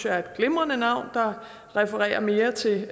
er et glimrende navn der refererer mere til